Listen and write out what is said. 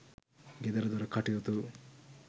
ගෙදරදොර කටයුතු